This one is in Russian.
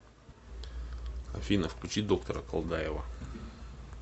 афина включи доктора колдаева